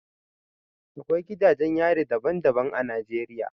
Akwai gidajen yari daban-daban a Najeriya